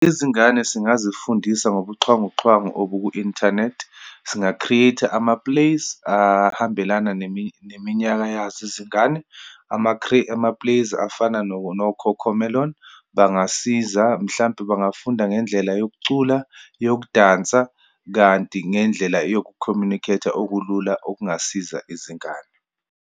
Izingane singazifundisa ngobuxhwanguxhwangu obu ku-inthanethi. Singa-create-a ama-plays ahambelana neminyaka yazo izingane. Ama-plays afana no-Cocomelon bangasiza, mhlampe bangafunda ngendlela yokucula, yokudansa, kanti ngendlela yoku-communicate-a okulula, okungasiza izingane.